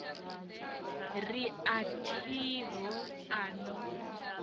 ri a thiho a no